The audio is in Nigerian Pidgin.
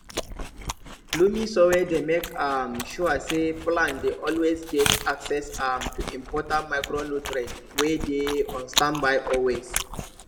loamy soil dey make um sure say plants dey always get access um to important micronutrients wey dey on standby always